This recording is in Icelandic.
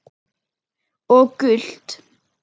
Og gult?